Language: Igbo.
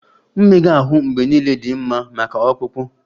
Mmega ahụ mgbe niile dị mma maka ọkpụkpụ